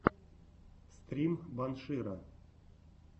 стрим банширо